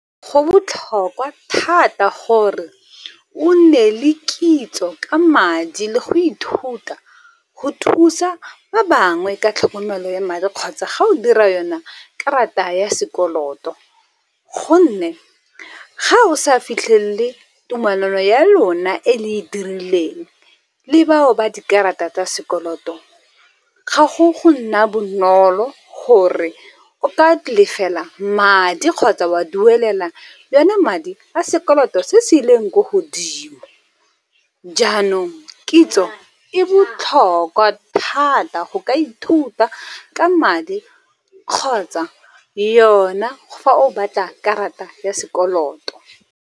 Go botlhokwa thata gore o nne le kitso ka madi le go ithuta go thusa ba bangwe ka tlhokomelo ya madi kgotsa ga o dira yone karata ya sekoloto. Gonne ga o sa fitlhele tumalano ya lona e le e dirileng le bao ba dikarata tsa sekoloto, ga go nna bonolo gore o ka lefela madi kgotsa wa duelela yone madi a sekoloto se se ileng ko godimo. Jaanong kitso e botlhokwa thata go ka ithuta ka madi kgotsa yone fa o batla karata ya sekoloto.